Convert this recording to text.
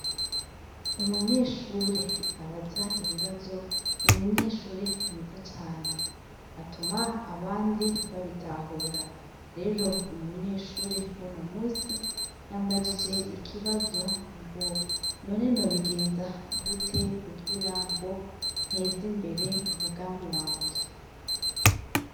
Umunyeshure abaza ibibazo n'umunyeshure mwiza cane, atuma abandi babitahura ,rero umunyeshure wuno musi yambagije ikibazo ngo: none nobigenza gute kugira ngo ntez' imbere umugambi wanje?